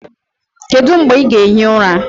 Kedu mgbe ị ga-ehi ụra?